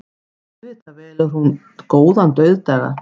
Auðvitað velur hún góðan dauðdaga.